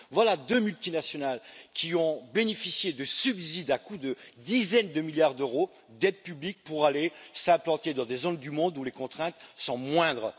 Voilà deux multinationales qui ont bénéficié de subsides à coups de dizaines de milliards d'euros d'aides publiques pour aller s'implanter dans des zones du monde où les contraintes sont moindres.